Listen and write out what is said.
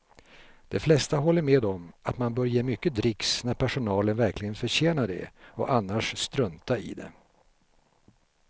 De flesta håller med om att man bör ge mycket dricks när personalen verkligen förtjänar det och annars strunta i det.